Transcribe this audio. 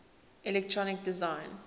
electronic design